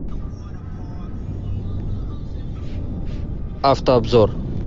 автообзор